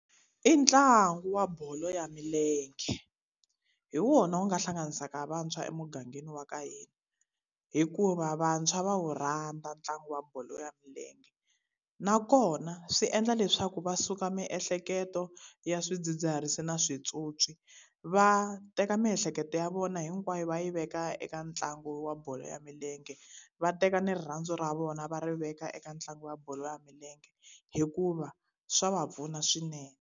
I ntlangu wa bolo ya milenge. Hi wona wu nga hlanganisaka vantshwa emugangeni wa ka hina., hikuva vantshwa va wu rhandza ntlangu wa bolo ya milenge. Nakona swi endla leswaku va suka miehleketo ya swidzidziharisi na swipyopyi, va teka miehleketo ya vona hinkwayo va yi veka eka ntlangu wa bolo ya milenge. Va teka ni rirhandzu ra vona va ri veka eka ntlangu wa bolo ya milenge, hikuva swa va pfuna swinene.